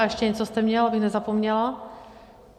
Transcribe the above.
A ještě něco jste měl, abych nezapomněla?